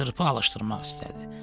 Çırpı alışdırmaq istədi.